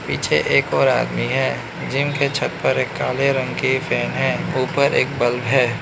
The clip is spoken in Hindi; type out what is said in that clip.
पीछे एक और आदमी है जिम के छत पर एक काले रंग की फैन है ऊपर एक बल्ब है।